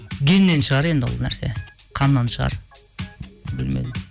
геннен шығар енді ол нәрсе қаннан шығар білмедім